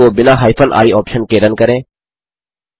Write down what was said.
script को बिना hyphen I option के रन करें